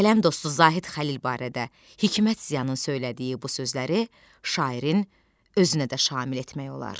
Qələm dostu Zahid Xəlil barədə Hikmət Ziyanın söylədiyi bu sözləri şairin özünə də şamil etmək olar.